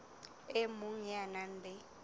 e mong ya nang le